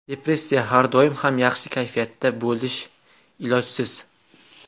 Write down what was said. Depressiya Har doim ham yaxshi kayfiyatda bo‘lish ilojsiz.